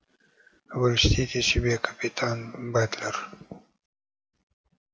вы льстите себе капитан батлер